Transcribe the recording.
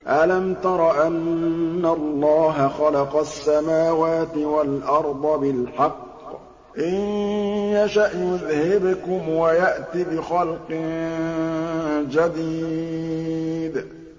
أَلَمْ تَرَ أَنَّ اللَّهَ خَلَقَ السَّمَاوَاتِ وَالْأَرْضَ بِالْحَقِّ ۚ إِن يَشَأْ يُذْهِبْكُمْ وَيَأْتِ بِخَلْقٍ جَدِيدٍ